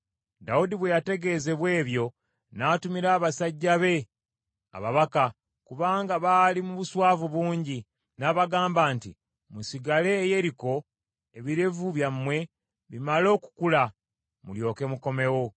Dawudi bwe yategeezebwa ebyo, n’atumira abasajja be ababaka, kubanga baali mu buswavu bungi, n’abagamba nti, “Musigale e Yeriko ebirevu byammwe bimale okukula mulyoke mukomewo.”